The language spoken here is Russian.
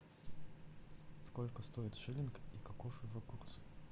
сколько стоит шиллинг и каков его курс